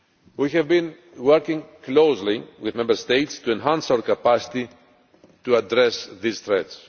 We have been working closely with Member States to enhance our capacity to address this threat.